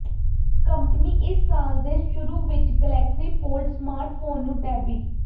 company ਇਸ ਸਾਲ ਦੇ ਸ਼ੁਰੂ ਵਿਚ ਗਲੈਕਸੀ ਫੋਲਡ ਸਮਾਰਟਫੋਨ ਨੂੰ ਡੈਬਿ